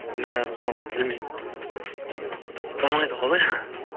мә соны білмеймін болмайды ғой олай